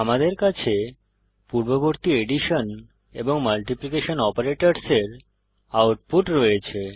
আমাদের কাছে পূর্ববর্তী এডিশন এবং মাল্টিপ্লীকেশন অপারেটরের আউটপুট রয়েছে